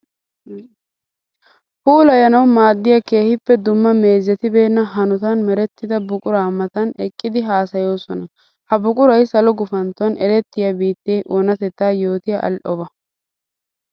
Puulayanawu maadiya keehippe dumma meezetibeena hanotan merettidda buqura matan eqqiddi haasayosonna. Ha buquray salo gufantton erettiya biitte oonatetta yootiya ali'obba.